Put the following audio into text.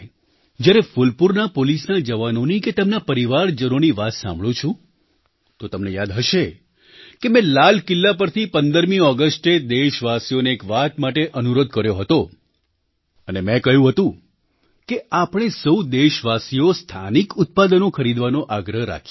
જ્યારે ફૂલપૂરના પોલીસના જવાનોની કે તેમના પરિવારજનોની વાત સાંભળું છું તો તમને યાદ હશે કે મેં લાલ કિલ્લા પરથી 15મી ઑગસ્ટે દેશવાસીઓને એક વાત માટે અનુરોધ કર્યો હતો અને મેં કહ્યું હતું કે આપણે સહુ દેશવાસીઓ સ્થાનિક ઉત્પાદનો ખરીદવાનો આગ્રહ રાખીએ